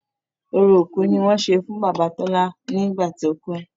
Orò òkú ni wọ́n ṣe fún bàbá Tọ́lá nígbà tí ó kú.